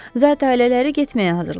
Zat ailələri getməyə hazırlaşır.